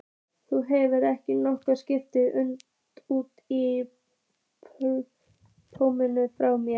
Þú hefur ekki nokkurn skapaðan hlut í blóðinu frá mér.